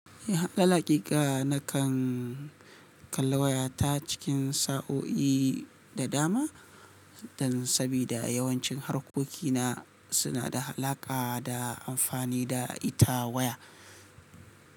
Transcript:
Akal hakika nakan kalli wayata cikin sa'o'i da dama dan sabida yawancin harkokina suna da alaƙa da amfani da ita waya.